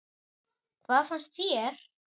Hvað fannst þér?